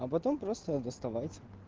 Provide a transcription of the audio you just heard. а потом просто доставать